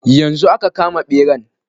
Yanzu aka kama ɓeran.